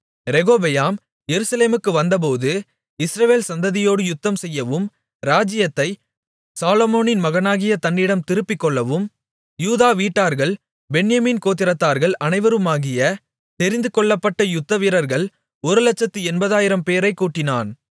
ரெகொபெயாம் எருசலேமுக்கு வந்தபோது இஸ்ரவேல் சந்ததியோடு யுத்தம்செய்யவும் ராஜ்ஜியத்தை சாலொமோனின் மகனாகிய தன்னிடம் திருப்பிக்கொள்ளவும் யூதா வீட்டார்கள் பென்யமீன் கோத்திரத்தார்கள் அனைவருமாகிய தெரிந்துகொள்ளப்பட்ட யுத்தவீரர்கள் ஒருலட்சத்து எண்பதாயிரம் பேரைக் கூட்டினான்